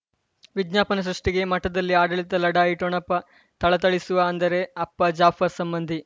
ವಿಜ್ಞಾಪನೆ ಸೃಷ್ಟಿಗೆ ಮಠದಲ್ಲಿ ಆಡಳಿತ ಲಢಾಯಿ ಠೊಣಪ ಥಳಥಳಿಸುವ ಅಂದರೆ ಅಪ್ಪ ಜಾಫರ್ ಸಂಬಂಧಿ